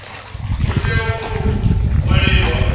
hu tea u tou ṅwaliwa